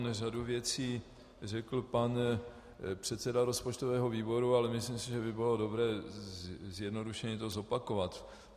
Řadu věcí řekl pan předseda rozpočtového výboru, ale myslím si, že by bylo dobré zjednodušeně to zopakovat.